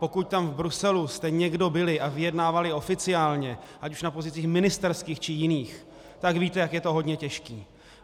Pokud tam v Bruselu jste někdo byli a vyjednávali oficiálně ať už na pozicích ministerských, či jiných, tak víte, jak je to hodně těžké.